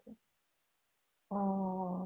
অ